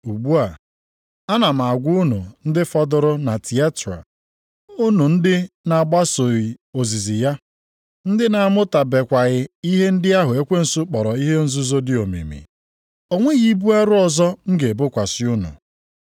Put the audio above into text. Ugbu a, ana m agwa unu ndị fọdụrụ na Tiatira, unu ndị na-agbasoghị ozizi ya, ndị na-amụtabekwaghị ihe ndị ahụ ekwensu kpọrọ ihe nzuzo dị omimi, + 2:24 Ihe nzuzo dị omimi E nwere ọdị iche nʼetiti ihe omimi Mmụọ Nsọ na-ekpughe dị ka e dere nʼakwụkwọ \+xt 1Kọ 2:10,\+xt* site nʼihe omimi ndị ọzọ. Ya mere, o ji dị mkpa na mmadụ ga-akpachapụ anya mgbe ọbụla onye dị otu na-achọ ịmata ụfọdụ ihe omimi, ka ọ rịọ inyeaka mmụọ nsọ. ‘O nweghị ibu arọ ọzọ m ga-ebokwasị unu,